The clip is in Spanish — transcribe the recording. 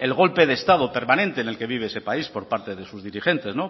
el golpe de estado permanente en el que vive ese país por parte de sus dirigentes